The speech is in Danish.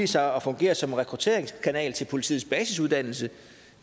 sig at fungere som rekrutteringskanal til politiets basisuddannelse